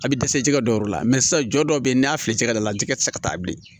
A bɛ dɛsɛ jɛgɛ dɔw la sisan jɔ dɔw bɛ yen n'a fili ka d'a la jɛgɛ tɛ se ka taa bilen